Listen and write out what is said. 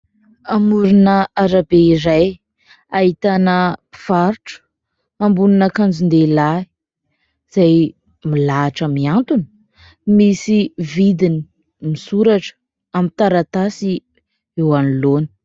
Amoron'arabe iray ahitana mpivarotra ambon'akanjon-dehilahy, izay milahatra mihantona misy vidiny misoratra amin'ny taratasy eo anoloana.